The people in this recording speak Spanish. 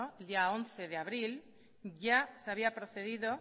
el día once de abril ya se había procedido